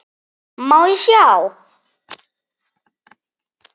Má ég sjá?